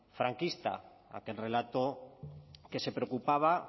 franquista aquel relato que se preocupaba